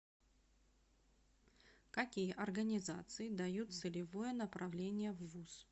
какие организации дают целевое направление в вуз